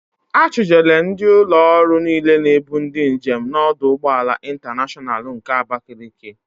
A chụjere ndị ụlọ ọrụ niile na-ebu ndị njem n'ọdụ ụgbọala Ịntaneshọnal nke Abakaliki.